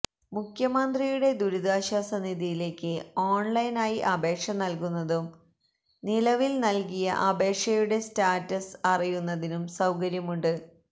മുഖ്യമന്ത്രിയുടെ ദുരിതാശ്വാസ നിധിയിലേക്ക് ഓണ്ലൈന് ആയി അപേക്ഷ നല്കുന്നതിനും നിലവില് നല്കിയ അപേക്ഷയുടെ സ്റ്റാറ്റസ് അറിയുതിനും സൌകര്യമുണ്ട്